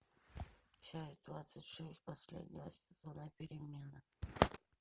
часть двадцать шесть последнего сезона перемены